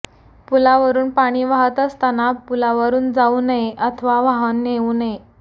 पुलावरून पाणी वाहत असतांना पुलावरून जाऊ नये अथवा वाहन नेऊ नये